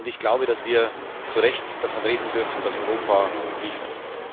Ich glaube, dass wir zu Recht davon reden dürfen, dass Europa liefert.